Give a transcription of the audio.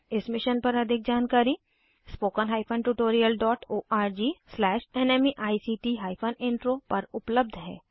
इस मिशन पर अधिक जानकारी spoken tutorialorgnmeict इंट्रो पर उपलब्ध है